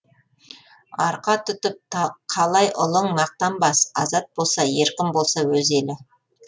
арқа тұтып қалай ұлың мақтанбас азат болса еркін болса өз елі